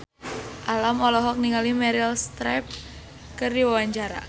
Alam olohok ningali Meryl Streep keur diwawancara